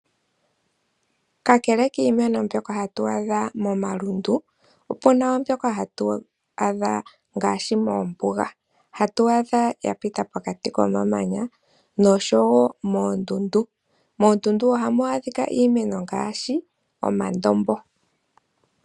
Kakele kiimeno mbyoka hatu adha momalundu, opu na wo mbyoka hatu adha moombuga, hatu adha ya pita pokati komamanya nosho wo moondundu. Moondundu ohamu adhika iimeno ngaashi omandombo.